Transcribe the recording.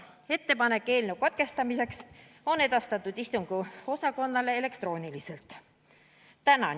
Ettepanek on edastatud istungiosakonnale elektrooniliselt.